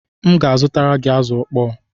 M ga-azutara gị azụ ịkpọ